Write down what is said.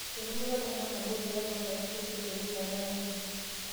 Etumuta ltung'ana nabo pee ng'or naboisho te wilaya e Arua